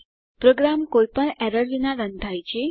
programme કોઈપણ errors વિના run થાય છે